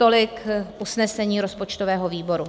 Tolik usnesení rozpočtového výboru.